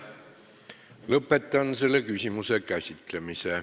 Lõpetan selle küsimuse käsitlemise.